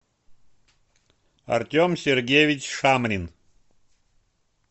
артем сергеевич шамрин